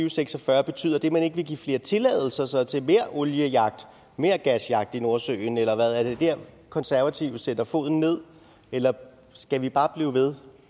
og seks og fyrre og betyder det at man ikke vil give flere tilladelser så til mere oliejagt og mere gasjagt i nordsøen eller hvad er det der konservative sætter foden ned eller skal vi bare blive ved